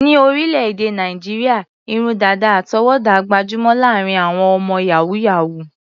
Ní orílẹ̀-èdè Nàìjíríà, irun dàdà àtọwọ́dá gbajúmọ̀ láàárín àwọn ọmọ yàhú-yàhuù.